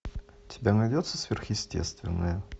у тебя найдется сверхъестественное